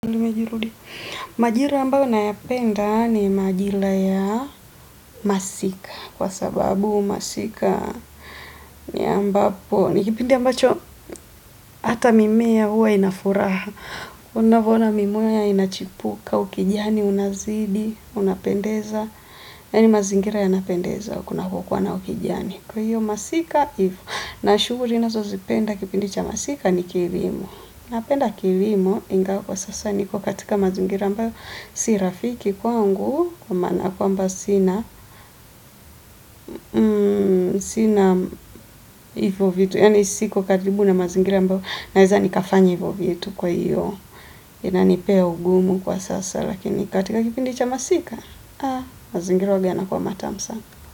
Majira ambayo na yapenda ni majira ya masika kwa sababu masika ni ambapo ni kipindi ambacho hata mimea huwa inafuraha unavyoona mimea inachipuka ukijani unazidi unapendeza yani mazingira yanapendeza kunapo kuwa na ukijani kwa hiyo masika hivyo na shughuli nazo zipenda kipindi cha masika ni kilimo na penda kilimo ingawa kilimo ingawa kwa sasa niko katika mazingira ambayo si rafiki kwangu kwa maana kwamba sina sina ivyo vitu yani siko karibu na mazingira ambayo naweza nikafanya ivyo vitu kwa hiyo inanipea ugumu kwa sasa lakini katika kipindi cha masika haa mazingira uwaga yanakua matamu sana.